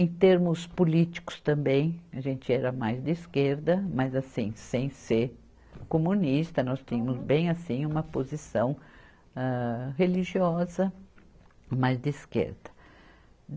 Em termos políticos também, a gente era mais de esquerda, mas assim, sem ser comunista, nós tínhamos bem assim uma posição âh religiosa, mas de esquerda.